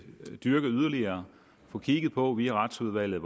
dyrke det yderligere og få kigget på via retsudvalget